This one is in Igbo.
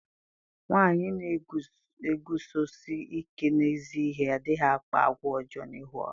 Nwanyị na-eguzosi ike n'ezi ihe adịghị akpa àgwà ọjọọ n'ihu ọha.